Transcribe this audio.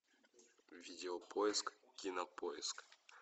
видео поиск кинопоиск